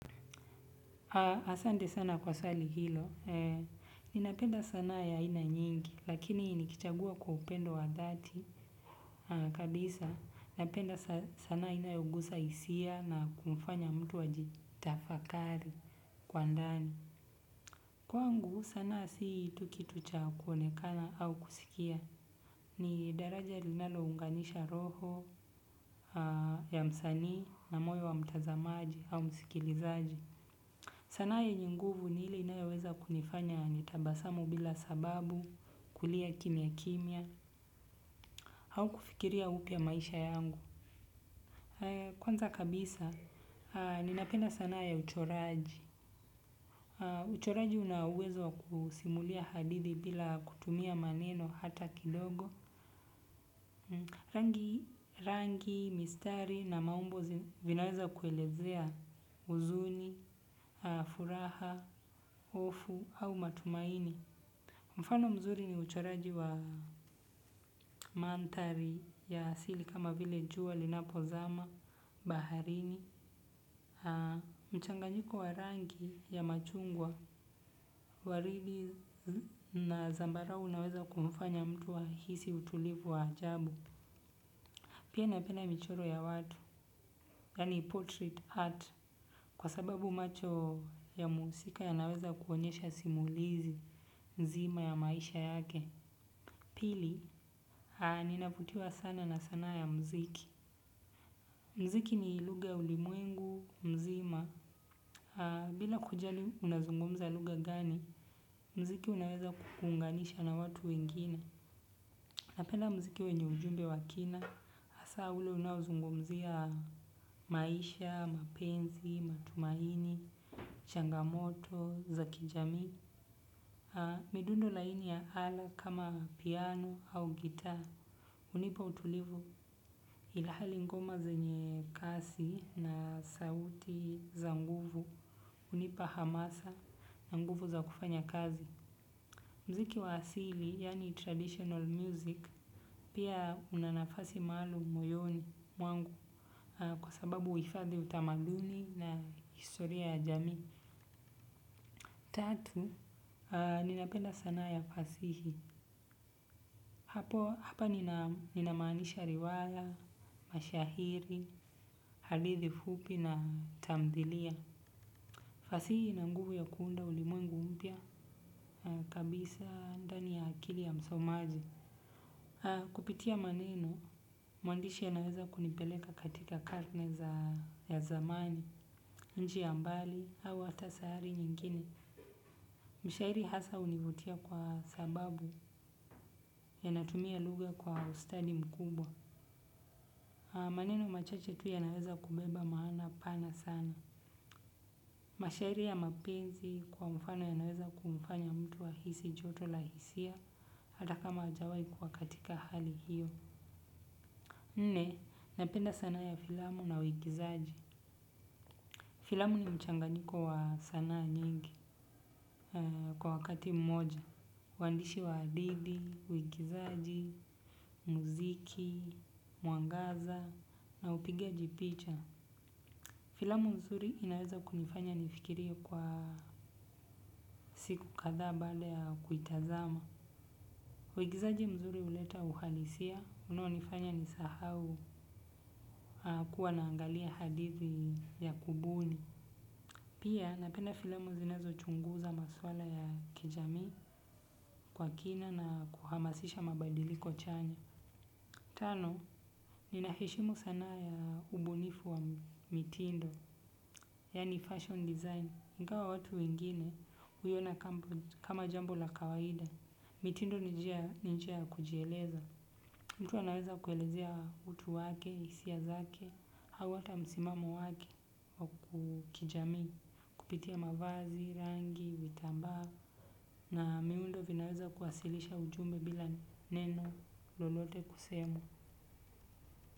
Asante sana kwa swali hilo, ninapenda sana ya ina nyingi, lakini nikichagua kwa upendo wa dhati, kabisa, ninapenda sana ina yongusa hisia na kumfanya mtu ajitafakari kwa ndani. Kwangu sanaa si tu kitu cha kuonekana au kusikia ni daraja linalounganisha roho ya msanii na moyo wa mtazamaji au msikilizaji. Sanaa yenyenguvu ni ile inayoweza kunifanya nitabasamu bila sababu, kulia kimia kimia, au kufikiria upya maisha yangu. Kwanza kabisa, ninapenda sanaaya uchoraji. Uchoraji unauwezowa kusimulia hadithi bila kutumia maneno hata kidogo. Rangi, mistari na maumbo vinaweza kuelezea huzuni, furaha, hofu au matumaini. Mfano mzuri ni uchoraji wa mandhari ya asili kama vile jua linapo zama, baharini, mchanganyiko warangi ya machungwa, waridi na zambarau unaweza kumfanya mtu ahisi utulivu wa ajabu. Pia napenda michoro ya watu, yaani portrait art, kwa sababu macho ya muhusika ya naweza kuonyesha simulizi nzima ya maisha yake. Ninavutiwa sana na muziki. Muziki ni lughaya ulimwengu, mzima. Bila kujali unazungumza lugha gani, muziki unaweza kukuunganisha na watu wengine. Na penda muziki wenye ujumbe wakina, hasa ule unaozungumzia maisha, mapenzi, matumaini, changamoto, zakijamii. Midundo laini ya ala kama piano au gitaa hunipa utulivu ilhali ngoma zenye kasi na sauti za nguvu hunipa hamasa na nguvu za kufanya kazi muziki wa asili, yaani traditional music pia unanafasi maalum moyoni mwangu kwa sababu huhifadhi utamaduni na historiaya jamii tatu, ninapenda sanaa ya fasihi. Hapo, hapa ninamaanisha riwaya, mashairi, hadithi fupi na tamthilia. Fasihi ina nguvu ya kuunda ulimwengu mpya kabisa ndani ya akili ya msomaji. Kupitia maneno, mwandishi a naweza kunipeleka katika karne za ya zamani, nchi ya mbali, au hata sayari nyingine. Mshairi hasa hunivutia kwa sababu ya natumia lugha kwa ustadi mkubwa. Maneno machache tu ya naweza kubeba maana pana sana. Mashairi ya mapenzi kwa mfano ya naweza kumfanya mtu ahisi joto lahisia hata kama hajawai kuwa katika hali hiyo. Nne napenda sanaa ya filamu na uigizaji filamu ni mchanganyiko wa sanaa nyingi kwa wakati mmoja. Waandishi wa hadithi, uigizaji, muziki, mwangaza na upigaji picha. Filamu nzuri inaweza kunifanya nifikirie kwa siku kadha baada ya kuitazama. Uigizaji mzuri huleta uhalisia unao nifanya nisahau kuwa naangalia hadithi ya kubuni. Pia napenda filamu zinazo chunguza maswala ya kijamii kwa kina na kuhamasisha mabadiliko chanya. Tano ninaheshimu sanaa ya ubunifu wa mitindo. Yaani fashion design, ingawa watu wengine huiyona kama jambo la kawaida. Mitindo ninjiaya kujieleza. Mtu anaweza kuelezea utu wake, hisia zake, au hata msimamo wake wa kijamii, kupitia mavazi, rangi, vitambaa. Na miundo vinaweza kuwasilisha ujumbe bila neno lolote kusemwa.